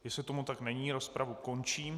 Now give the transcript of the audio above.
Jestli tomu tak není, rozpravu končím.